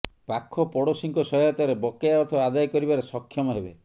ପାଖପଡୋଶିଙ୍କ ସହାୟତାରେ ବକେୟା ଅର୍ଥ ଆଦାୟ କରିବାରେ ସକ୍ଷମ ହେବେ